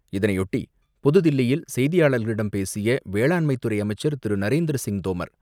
இதனையொட்டி புதுதில்லியில் செய்தியாளர்களிடம் பேசிய வேளாண்துறை அமைச்சர் திரு. நரேந்திர சிங் தோமர்